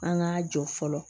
An k'a jɔ fɔlɔ